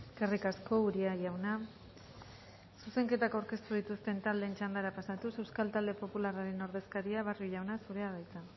eskerrik asko uria jauna zuzenketak aurkeztu dituzten taldeen txandara pasatuz euskal talde popularraren ordezkaria barrio jauna zurea da hitza